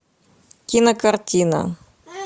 кинокартина